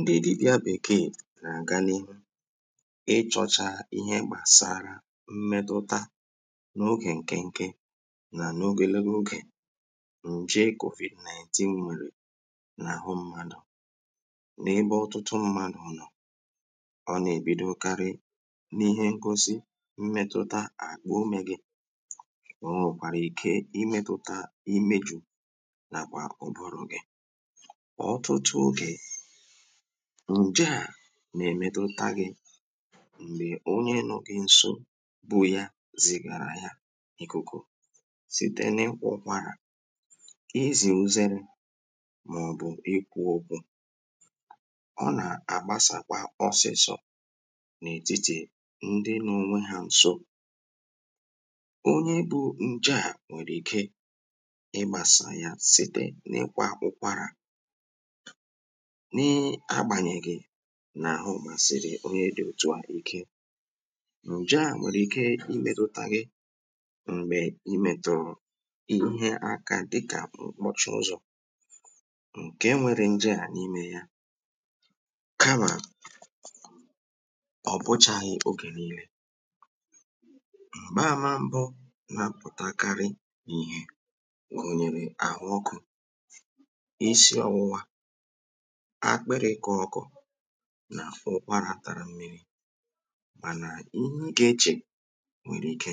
mbidi yā bèkeè nà-àganị ị chọ̄chā īhē gbàsara mmẹtụta n’ogè ǹkịnkị nà n’ogè legulughè ǹje covid 19 mèrè n’àhụ m̄mādụ̀ n’ebe ọ̀tụtụ mmadụ̄ nọọ̄ ọ nà-èbidokarị n’ihe nkụsị mmẹ̄tụ̄tā àkpà umē gị̄ o nwèkwàrà ike imētụ̄tā imejū nàkwà ụ̀bụrụ̀ gị ọtụtụ ogè, ǹje à nà-èmetụta gị̄ m̀gbè onye nọọ̄ gị̄ n̄sō bu ya zìgàrà ya n’ìkùkù site n’ịkwụ̀ ụkwarà, izè uzerē màọ̀bụ̀ ikwū ōkwū ọ nà-àgbasàkwa ọsịsọ̄ n’ètitì ndị nọọ̄ ònwe hā n̄sō onye bū ǹje à nwèrè ike ịgbāsà ya site n'ịkwā ụ̄kwārà nị agbànyèghị̀ nà àhụ màsị̀rị̀ onye dị̄ òtu à ike ǹje à nwèrè ike mbètụ̀tà gị m̀gbè ị mẹ̀tụ̀rụ̀ ihe aka dịkà m̀kpọ̀chì ụzọ̀ ǹke nwērē ǹje à n’imē yā kamà ọ̀ bụchāghị̄ ogè niīlē m̀gbe àma m̄bụ̄ nà-apụ̀takarị ìhè n’òghèrè àhụ ọkụ̄ isi ọ̄wụ̄wā, àkpịrị̄ ịkọ̄ ọ̄kọ̄ nà ụkwarā tara mmirī mànà ihe ị gà-echè nwèrè ike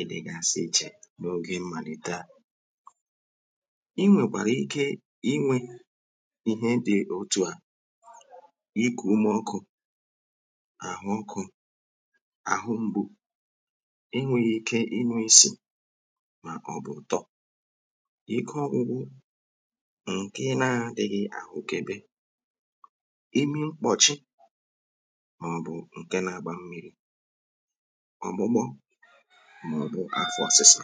ịdị̄gāsị̄ īchè n’ogè mmàlite a ị nwèkwàrà ike inwē ihe dị̄ òtu à n’ikù ime ọkụ̄, àhụ ọkụ̄, àhụ m̄gbū enwēghị̄ īkē ịnụ̄ isì màọ̀bụ̀ ụ̀tọ ike ọ̄gụ̄gụ̄ ǹkè ị na-ādị̄ghị̄ àhụkebe imi mkpọ̀chi màọ̀bụ̀ ǹke nā-āgbā mmīrī ọ̀gbụgbọ màọ̀bụ̀ afọ ọ̄sụ̄sā